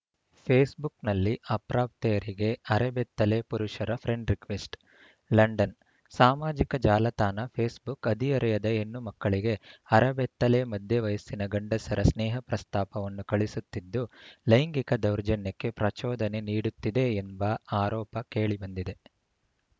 ಫೇಸ್‌ಬುಕ್‌ನಲ್ಲಿ ಅಪ್ರಾಪ್ತೆಯರಿಗೆ ಅರೆ ಬೆತ್ತಲೆ ಪುರುಷರ ಫ್ರೆಂಡ್‌ ರಿಕ್ವೆಸ್ಟ್‌ ಲಂಡನ್‌ ಸಾಮಾಜಿಕ ಜಾಲತಾಣ ಫೇಸ್‌ಬುಕ್‌ ಹದಿಹರೆಯದ ಹೆಣ್ಣು ಮಕ್ಕಳಿಗೆ ಅರೆ ಬೆತ್ತಲೆ ಮಧ್ಯ ವಯಸ್ಸಿನ ಗಂಡಸರ ಸ್ನೇಹ ಪ್ರಸ್ತಾಪವನ್ನು ಕಳುಸುತ್ತಿದ್ದು ಲೈಂಗಿಕ ದೌರ್ಜನ್ಯಕ್ಕೆ ಪ್ರಚೋದನೆ ನೀಡುತ್ತಿದೆ ಎಂಬ ಆರೋಪ ಕೇಳಿ ಬಂದಿದೆ